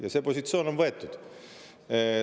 Ja see positsioon on võetud.